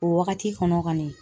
O wagati kɔnɔ kɔni